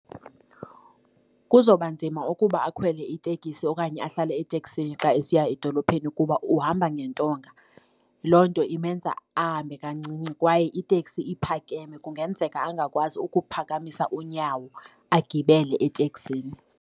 Kuzawubanzima ukuba akhwele iteksi okanye ahlale eteksini xa esiya edolophini kuba uhamba ngentonga. Loo nto imenza ahambe kancinci kwaye iteksi iphakeme. Kungenzeka angakwazi ukuphakamisa unyawo agibele eteksini.